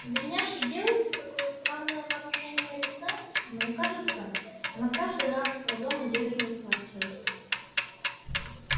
у бедняжки делается такое странное выражение лица мне кажется она каждый раз с трудом удерживается от слез